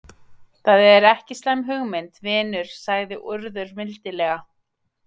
Það er ekki slæm hugmynd, vinur sagði Urður mildilega.